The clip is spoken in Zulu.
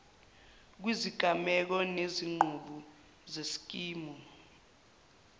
kwizigameko nezinqubo zeskimu